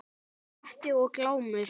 Grettir og Glámur